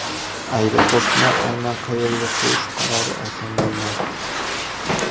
Aeroportni aynan qayerga qurish qarori oson bo‘lmadi.